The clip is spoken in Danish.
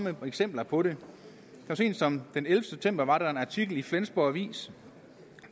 et par eksempler på det så sent som den ellevte september var der en artikel i flensborg avis